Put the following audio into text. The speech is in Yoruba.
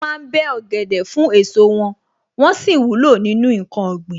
Wọ́n ma ń bẹ́ ọ̀gẹ̀dẹ̀ fún èso wọn, wón sì wúlò nínú ǹkan ọ̀gbìn.